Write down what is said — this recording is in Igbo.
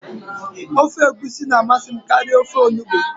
Ofe egusi na amasị m karịa ofe onugbụ